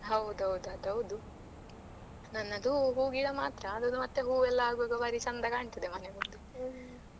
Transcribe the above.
ಹೌದೌದು ಅದು ಹೌದು ನನ್ನದು ಹೂ ಹೂ ಗಿಡ ಮಾತ್ರ ಅದ್ರದ್ದು ಹೂ ಎಲ್ಲ ಆಗುವಾಗ ಬಾರಿ ಚೆಂದ ಕಾಣ್ತದೆ ಮನೆ ಮುಂದೆ .